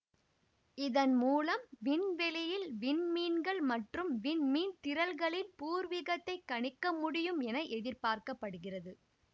இதன் மூலம் விண்வெளியில் விண் மீன்கள் மற்றும் விண்மீன்திரள்களின் பூர்வீகத்தைக் கணிக்க முடியும் என எதிர்பார்க்க படுகிறது